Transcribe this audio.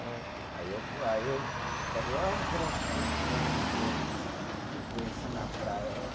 É. Aí eu, aí eu falei, olha aquelas duas criança que eu, que eu conheci na praia, ó.